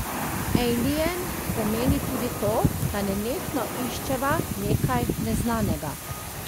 Ejlijen pomeni tudi to, da nenehno iščeva nekaj neznanega.